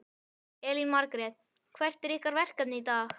Elín Margrét: Hvert er ykkar verkefni í dag?